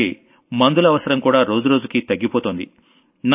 అలాగే మందుల అవసరం కూడా రోజురోజుకీ తగ్గిపోతోంది